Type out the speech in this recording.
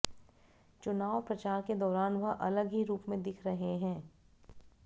चुनाव प्रचार के दौरान वह अलग ही रूप में दिख रहे हैं